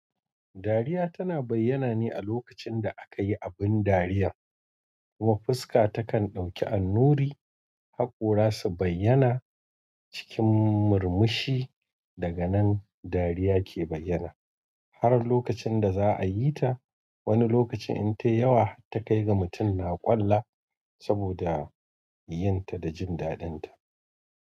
Dariya tana bayyana ne a lokacin da akayi abin dariya kuma fuska takan ɗauki annuri, hakora su bayyana cikin murmushi. Daga nan dariya ke bayyana har lokacin da za a yi ta. Wani lokacin in tayi yawa ta kai ga mutum na ƙolla saboda yi yin ta da jin daɗin ta.